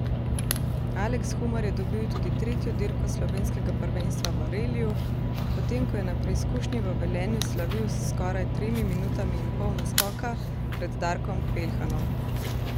Aleks Humar je dobil tudi tretjo dirko slovenskega prvenstva v reliju, potem ko je na preizkušnji v Velenju slavil s skoraj tremi minutami in pol naskoka pred Darkom Peljhanom.